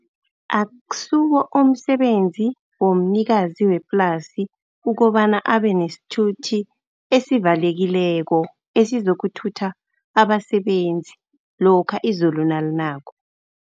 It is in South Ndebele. Akusiwo umsebenzi womnikazi weplasi, ukobana abe nesithuthi esivalekileko, esizokuthatha abasebenzi lokha izulu nalinako.